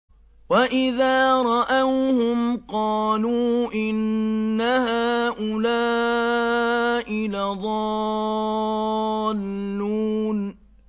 وَإِذَا رَأَوْهُمْ قَالُوا إِنَّ هَٰؤُلَاءِ لَضَالُّونَ